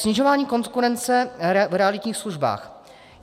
Snižování konkurence v realitních službách.